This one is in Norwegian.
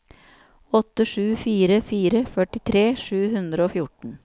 åtte sju fire fire førtitre sju hundre og fjorten